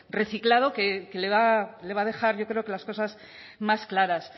reciclado que le va a dejar yo creo que las cosas más claras